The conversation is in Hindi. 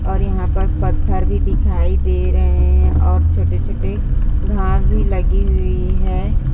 और यहाँ पस पत्थर भी दिखाई दे रहे हैं और छोटे-छोटे घास भी लगी हुई है।